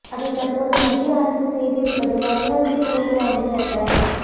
அதை தற்போது மத்திய அரசு செய்திருப்பது வரலாற்று சிறப்பு வாய்ந்த சட்ட